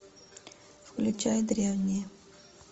включай древние